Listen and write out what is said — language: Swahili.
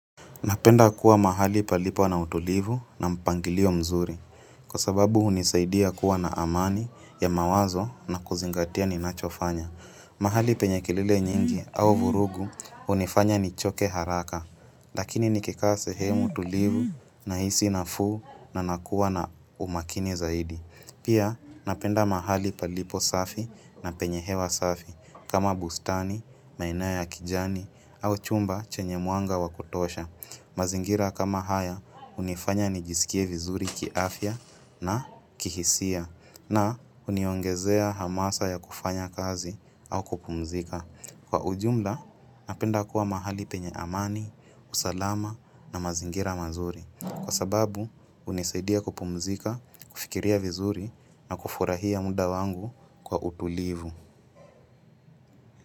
Napenda kuwa mahali palipo na utulivu na mpangilio mzuri, kwa sababu unisaidia kuwa na amani ya mawazo na kuzingatia ninachofanya. Mahali penye kelrle nyingi au vurugu hunifanya nichoke haraka, lakini nikikaa sehemu tulivu nahisi nafuu na nakuwa na umakini zaidi. Pia napenda mahali palipo safi na penye hewa safi, kama bustani, na inayo ya kijani au chumba chenye mwanga wa kutosha. Mazingira kama haya hunifanya nijisikie vizuri kiafya na kihisia na huniongezea hamasa ya kufanya kazi au kupumzika. Kwa ujumla napenda kuwa mahali penye amani, usalama na mazingira mazuri. Kwa sababu hunisaidia kupumzika, kufikiria vizuri na kufurahia muda wangu kwa utulivu.